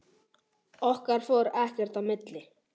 Okkar fór ekkert í milli.